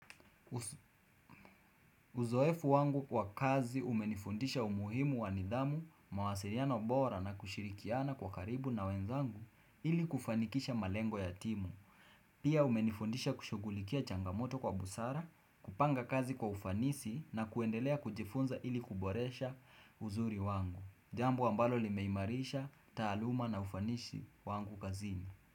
Uzoefu wangu kwa kazi umenifundisha umuhimu wa nidhamu, mawasiliano bora na kushirikiana kwa karibu na wenzangu ili kufanikisha malengo ya timu Pia umenifundisha kushughulikia changamoto kwa busara, kupanga kazi kwa ufanisi na kuendelea kujifunza ili kuboresha uzuri wangu Jambo ambalo limeimarisha, taaluma na ufanishi wangu kazini.